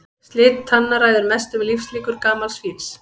Slit tanna ræður mestu um lífslíkur gamals fíls.